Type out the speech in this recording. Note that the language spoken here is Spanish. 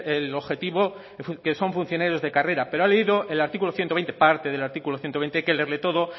el objetivo que son funcionarios de carrera pero ha leído parte del artículo ciento veinte hay que leerlo todo